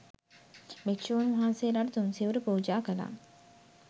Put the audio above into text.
භික්ෂූන් වහන්සේලාට තුන්සිවුරු පූජා කළා.